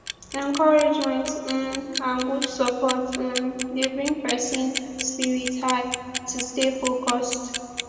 encouragement um and good support um dey bring pesin spirit high to stay focused